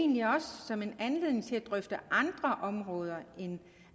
egentlig også som en anledning til at drøfte andre områder end